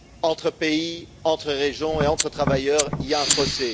Entre pays, entre régions et entre travailleurs, il y a un fossé.